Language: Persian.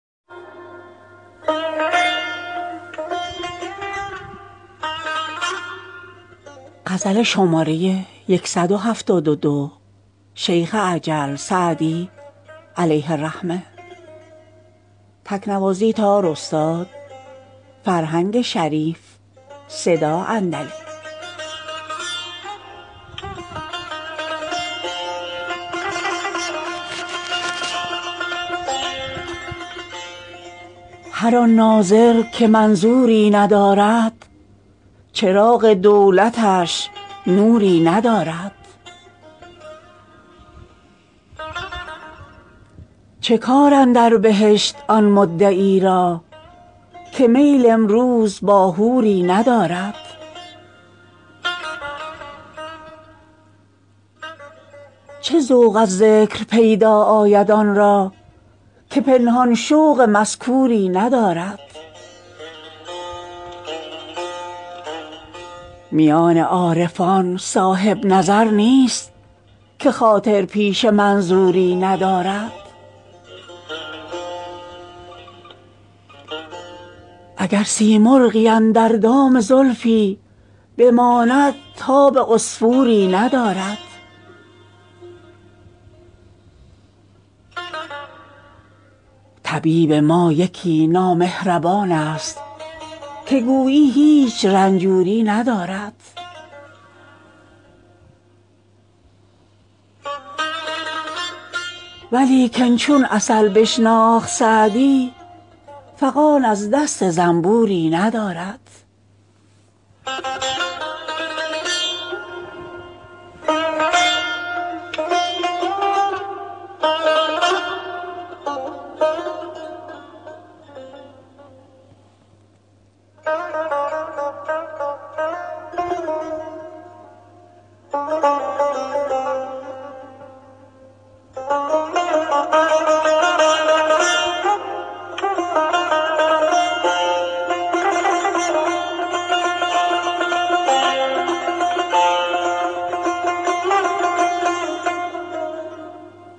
هر آن ناظر که منظوری ندارد چراغ دولتش نوری ندارد چه کار اندر بهشت آن مدعی را که میل امروز با حوری ندارد چه ذوق از ذکر پیدا آید آن را که پنهان شوق مذکوری ندارد میان عارفان صاحب نظر نیست که خاطر پیش منظوری ندارد اگر سیمرغی اندر دام زلفی بماند تاب عصفوری ندارد طبیب ما یکی نامهربان ست که گویی هیچ رنجوری ندارد ولیکن چون عسل بشناخت سعدی فغان از دست زنبوری ندارد